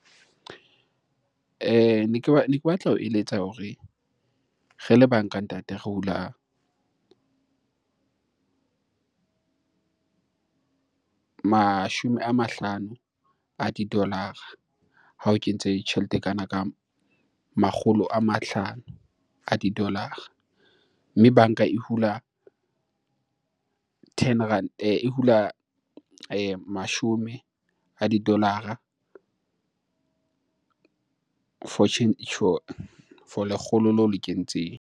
Ne ke batla ho eletsa hore re le banka ntate, re hula mashome a mahlano a di-dollar-ra ha o kentse tjhelete e kana ka makgolo a mahlano a di-dollar-ra. Mme banka e hula ten rand e hula mashome a di-dollar-ra for lekgolo leo le kentseng.